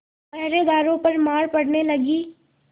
पहरेदारों पर मार पड़ने लगी